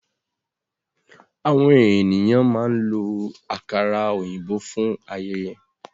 Àwọn ènìyàn máa ń lo àkàrà òyìnbó fún ayẹyẹ.